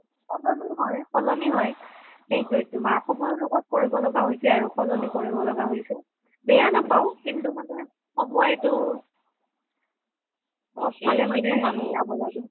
সলনি হয়, সলনি হয় তুমাৰ সময়ৰ লগত কৰিব লগা হৈছে আৰু সলনি কৰিব লগা হৈছে বেয়া নাপাও কিন্তু সময়টো চব ফালে মিলাব লাগে